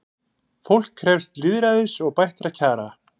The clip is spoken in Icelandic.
Fólk krefst lýðræðis og bættra kjara